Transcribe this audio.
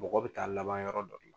Mɔgɔ bɛ taa laban yɔrɔ dɔ